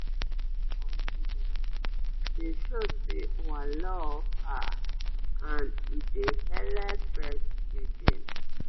if you give mama confidece dey show say ua love her ad e dey helep breastfeeding